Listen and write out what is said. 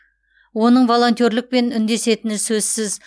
оның волонтерлікпен үндесетіні сөзсіз